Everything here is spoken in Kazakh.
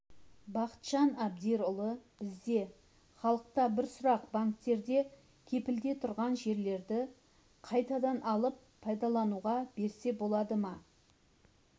бақытжан абдирұлы бізде халықта бір сұрақ банктерде кепілде тұрған жерлерді қайтадан алып пайдалануға берсе болады ма